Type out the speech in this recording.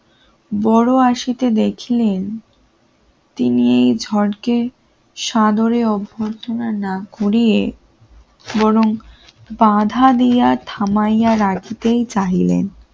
বড় আশিতে দেখলেন তিনি এই ঝড়কে সাদরে অভ্যর্থনা না ঘুরিয়ে বরং বাধা দিয়া থামাইয়া রাখিতেই চাহিলেন